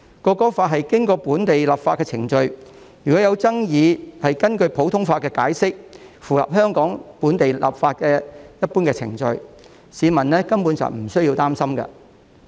《國歌法》是經過本地立法的程序，若有爭議，會根據普通法作解釋，符合香港本地立法的一般程序，市民根本無須擔心。